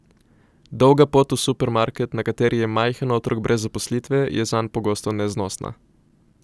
Dolga pot v supermarket, na kateri je majhen otrok brez zaposlitve, je zanj pogosto neznosna.